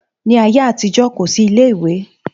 Ní ayé àtijó, kò sí ilé ìwé